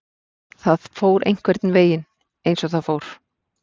Það fór einhvernveginn eins og það fór.